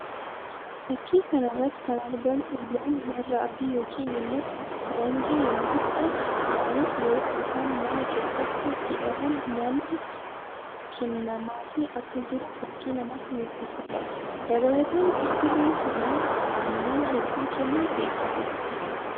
Fakkii kana irrattti kan argamu loon warra adii yookiin immoo faranjii yammuu ta'an; isaanis yeroo isaan mana keessatti hidhamuun nyaanni kennamaafii akka jiru fakkii namatti mullisuu dha. Dabalataan gosti loon kanaa aannan hedduu kennuun beekamu.